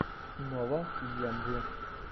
нова эйэмви